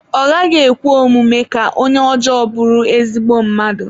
Ọ gaghị ekwe omume ka onye ọjọọ bụrụ ezigbo mmadụ